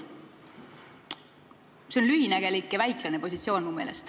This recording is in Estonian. See on mu meelest lühinägelik ja väiklane positsioon.